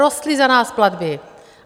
Rostly za nás platby!